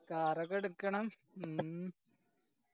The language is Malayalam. car ഒക്കെ എടുക്കണം ഉം